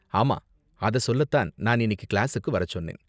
ஆமா, அத சொல்ல தான் நான் இன்னைக்கு கிளாஸுக்கு வரச் சொன்னேன்.